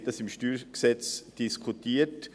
Wir haben beim StG darüber diskutiert.